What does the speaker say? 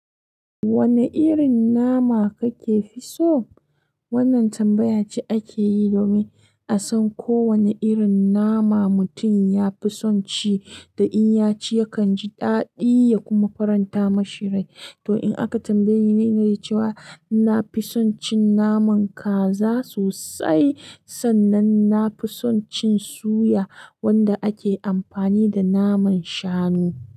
Wane irin nama kake fi so? Wannan tambaya ce ake yi domin a san ko wane irin nama mutum ya fi son ci da in ya ci yakan ji daɗi ya kuma faranta mashi rai. To, in aka tambaye ni na ce cewa na fi son cin naman kaza sosai, sannan na fi son cin suya wanda ake amfani da naman shanu.